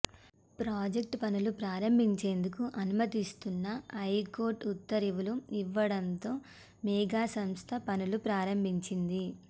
project పనులు ప్రారంభించేందుకు అనుమతినిస్తూ హైకోర్టు ఉత్తరువులు ఇవ్వడంతో మేఘా సంస్థ పనులు ప్రారంభించింది